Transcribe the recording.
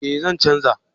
Eh zan canja